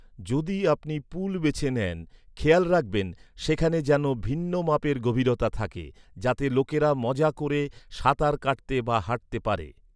যদি আপনি পুল বেছে নেন, খেয়াল রাখবেন সেখানে যেন ভিন্ন মাপের গভীরতা থাকে, যাতে লোকেরা মজা ক’রে সাঁতার কাটতে বা হাঁটতে পারে।